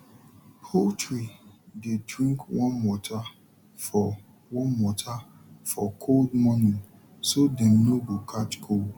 poultry dey drink warm water for warm water for cold morning so dem no go catch cold